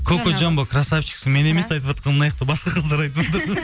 кокожамбо қрасавчиксің мен емес айтыватқан мынаяқта басқа қыздар айтыватр